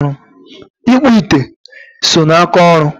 ịkpụ ite so n'aka ọrụ.